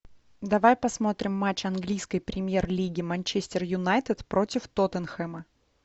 давай посмотрим матч английской премьер лиги манчестер юнайтед против тоттенхэма